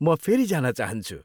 म फेरि जान चाहन्छु।